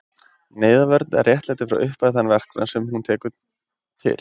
Neyðarvörn réttlætir frá upphafi þann verknað, sem hún tekur til.